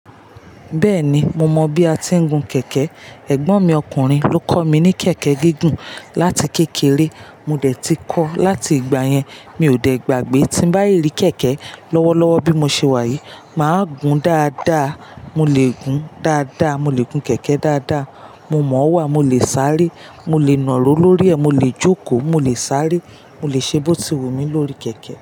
Bẹ́ẹ̀ni, mo mọ bí a ti ń gun kẹ̀kẹ́. Ẹ̀gbọ́n mi ọkùnrin ló kọ́ mi ní kẹ̀kẹ́ gígùn láti kékeré. Mo dé tí kọ́, láti ìgbà yẹn mi ò dẹ̀ gbàgbé. Tí bá yí rí kẹ̀kẹ́ lọ́wọ́lọ́wọ́ bí mo ṣe wà yìí, màá gun dáadáa. Mo lè gun dáadáa, mo lè gun kẹ̀kẹ́ dáadáa. Mo mọ̀ ọ́ wà, mo lè sáré, mo lè nàró lórí ẹ̀, mo lè jókòó, mo lè sáré, mo lè ṣe bó ti wun mi lórí kẹ̀kẹ́.